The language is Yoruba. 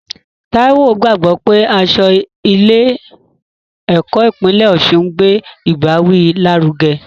Taiwo gbàgbọ́ pé aṣọ ilé ẹ̀kọ́ ìpínlẹ̀ Osun ń gbé ìbáwí lárugẹ.